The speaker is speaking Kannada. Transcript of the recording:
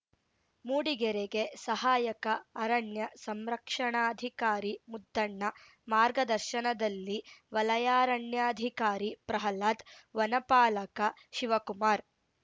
ಮೂಡಿಗೆರೆಗೆ ಸಹಾಯಕ ಅರಣ್ಯ ಸಂರಕ್ಷಣಾಧಿಕಾರಿ ಮುದ್ದಣ್ಣ ಮಾರ್ಗದರ್ಶನದಲ್ಲಿ ವಲಯಾರಣ್ಯಾಧಿಕಾರಿ ಪ್ರಹ್ಲಾದ್‌ ವನಪಾಲಕ ಶಿವಕುಮಾರ್‌